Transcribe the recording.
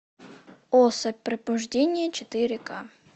особь пробуждение четыре к